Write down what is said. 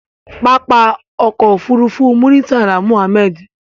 Pápákọ̀ òfurufú Muritala Muhammed.